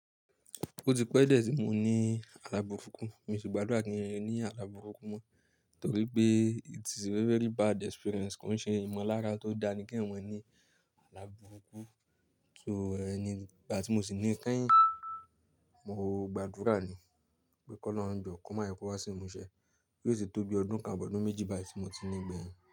Ó ti pẹ́ dié tí mò ní àlábùrúkú, mio sì gbàdúrà kí ń rí ní àlábùrúkú mọ́, torí pé it is a very bad experience. Kọ́ n ṣe ìmọ̀lára tó dání ki eyan mọn ní àlábùrúkú. So, ìgbà tí mò sì ní kẹ́yìn, mo gbàdúrà ni pé ki olọ́run jọ, koma jeki o wá sí ìmúṣẹ, yíó tì tó bí ọdún kan abi ọdún méjì bà yí ti mò ti ní gbẹ̀yìn.